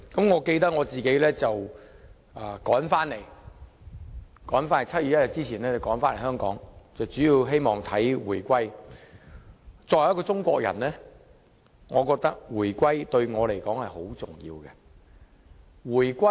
我記得我趕在1997年7月1日前回來香港，主要是希望見證回歸。作為中國人，我覺得回歸對我很重要。